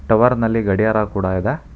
Tower ನಲ್ಲಿ ಗಡಿಯಾರ ಕೂಡ ಇದೆ.